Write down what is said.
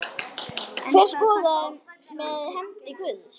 Hver skoraði með hendi guðs?